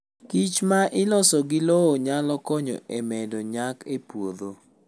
kichma iloso gi lowo nyalo konyo e medo nyak e puodho.